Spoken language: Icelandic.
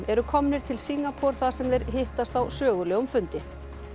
eru komnir til Singapúr þar sem þeir hittast á sögulegum fundi